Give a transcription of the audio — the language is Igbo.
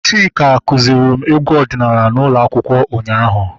Chika kụziri m egwu ọdịnala n'ụlọ akwụkwọ ụnyaahụ